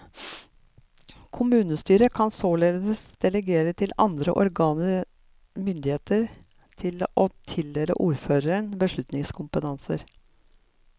Kommunestyret kan således delegere til andre organer myndigheten til å tildele ordføreren beslutningskompetanse.